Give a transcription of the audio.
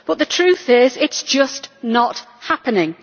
But the truth is that it is just not happening.